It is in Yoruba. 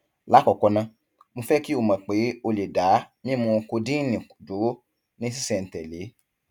lákọọkọ ná mo fẹ kí o mọ pé o lè dá mímu kodíìnì dúró ní ṣísẹntẹlé